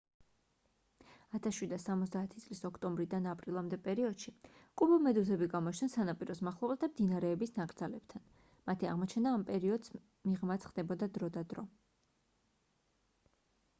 1770 წლის ოქტომბრიდან აპრილამდე პერიოდში კუბომედუზები გამოჩნდნენ სანაპიროს მახლობლად და მდინარეების ნაკრძალებთან მათი აღმოჩენა ამ პერიოდს მიღმაც ხდებოდა დრო და დრო